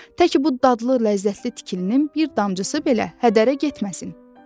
Tək bu dadlı, ləzzətli tikilinin bir damcısı belə hədərə getməsin!